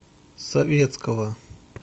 советского